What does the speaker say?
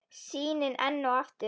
Sýnin enn og aftur.